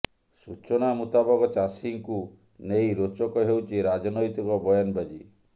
ସୂଚନା ମୁତାବକ ଚାଷୀଙ୍କୁ ନେଇ ରୋଚକ ହେଉଛି ରାଜନୈତିକ ବୟାନବାଜି